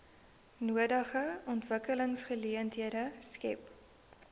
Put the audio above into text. nodige ontwikkelingsgeleenthede skep